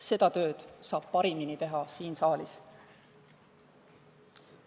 Seda tööd saab parimini teha siin saalis.